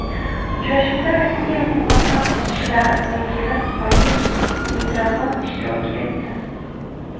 Uchrashuvda Rossiyaning muvaqqat ishlar vakili Vadim Mitrofanov ishtirok etdi.